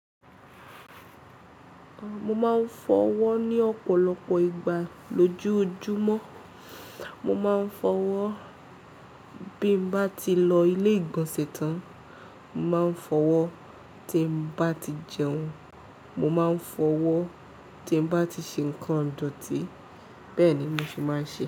Mo máa ń fọwọ́ ní ọ̀pọ̀lọpọ̀ ìgbà lójoojúmọ́. Mo máa ń fọwọ́ bí mo bá ti lọ ilé ìgbọ̀nsẹ̀ tán, máa ń fọwọ́ tí mo bá ti jẹun, mo máa ń fọwọ́ tí mo bá ti ṣe nǹkan ìdọ̀tí bẹ́ẹ̀ ni mo ṣe máa ń ṣe é.